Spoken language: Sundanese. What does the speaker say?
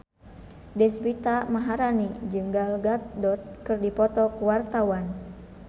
Deswita Maharani jeung Gal Gadot keur dipoto ku wartawan